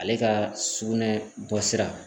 Ale ka sugunɛ bɔsira